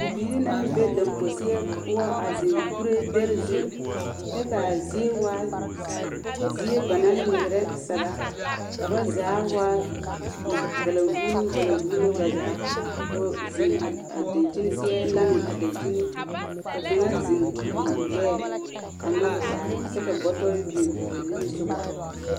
Bibiiri naŋ be damposeɛ poɔ a zeŋ kuree dɛre zu, kyɛ ka a zie waa zie ba naŋ ba naŋ nyegrɛ saga, ka ba zaa waa valanvuuluŋ valanvuuluŋ ba zaa, ka ba zeŋ a dankyini seɛ laŋe a dankyini ka kaŋa zeŋ guri o gbɛɛ nyɔge taa kyɛ ka bɔtɔre biŋ ba nimisogɔ. 13381